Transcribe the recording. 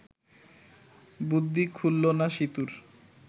বুদ্ধি খুলল না সীতুর